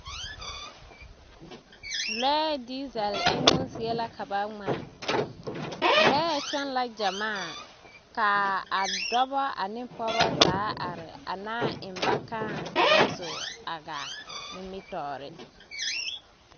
Lɔɛ diizɛle emmo zie la ka ba ŋmaa, lɔɛ kyɔŋ la gyɛmaa, k'a dɔbɔ ane pɔgeba zaa are a naa eŋ ba kãã ka ba zo a gaa nimitɔɔre.